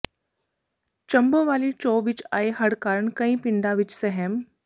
ਝੰਬੋ ਵਾਲੀ ਚੋਅ ਵਿੱਚ ਆਏ ਹੜ੍ਹ ਕਾਰਨ ਕਈ ਪਿੰਡਾਂ ਵਿੱਚ ਸਹਿਮ